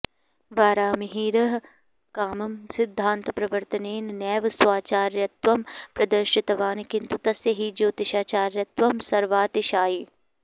वराहमिहिरः कामं सिद्धान्तप्रवर्तनेन नैव स्वाचार्यत्वं प्रदर्शितवान् किन्तु तस्य हि ज्योतिषाचार्यत्वं सर्वातिशायि